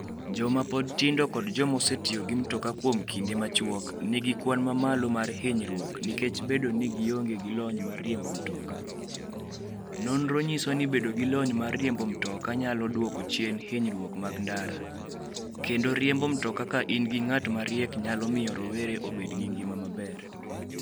Joma pod tindo kod joma osetiyo gi mtoka kuom kinde machuok nigi kwan mamalo mar hinyruok nikech bedo ni gionge gi lony mar riembo mtoka. Nonro nyiso ni bedo gi lony mar riembo mtoka, nyalo dwoko chien hinyruok mag ndara, kendo riembo mtoka ka in gi ng'at mariek nyalo miyo rowere obed gi ngima maber.